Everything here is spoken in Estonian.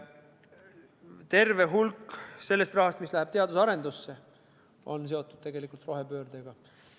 Terve hulk sellest rahast, mis läheb teadus- ja arendustegevusse, on tegelikult seotud rohepöördega.